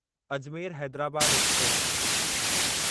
Ajmer Hyderabad express